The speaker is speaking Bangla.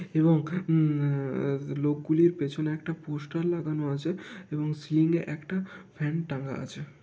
এবং উম আ আ লোক গুলির পেছনে একটা পোষ্টার লাগানো আছে এবং সিলিং -এ একটা ফ্যান টাঙা আছে।